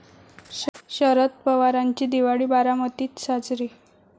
शरद पवारांची दिवाळी बारामतीत साजरी